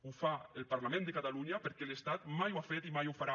ho fa el parlament de catalunya perquè l’estat mai ho ha fet i mai ho farà